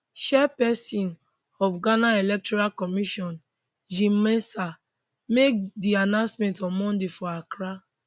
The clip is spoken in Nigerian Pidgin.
chairpesin of ghana electoral commission jean mensa make di announcement on monday for accra